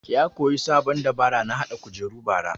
Ya koya sabon dabara na haɗa kujeru bara